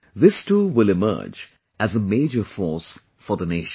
This too will emerge as a major force for the nation